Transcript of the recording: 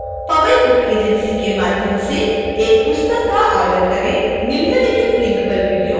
मौजूदा विक्रेता powai book agency के माध्यम से एक पुस्तक का ऑर्डर करें